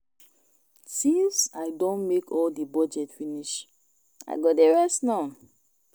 Since I don make all the budget finish I go dey rest now